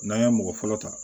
N'an ye mɔgɔ fɔlɔ ta